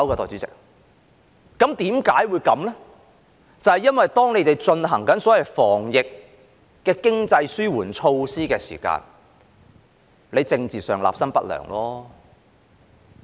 就是因為政府進行所謂防疫的經濟紓緩措施時，政治上立心不良。